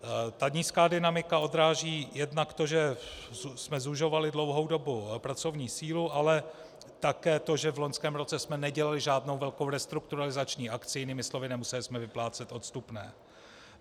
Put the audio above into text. Ta nízká dynamika odráží jednak to, že jsme zužovali dlouhou dobu pracovní sílu, ale také to, že v loňském roce jsme nedělali žádnou velkou restrukturalizační akci, jinými slovy, nemuseli jsme vyplácet odstupné.